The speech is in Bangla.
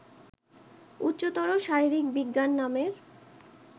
উচ্চতর শারীরিক বিজ্ঞান নামের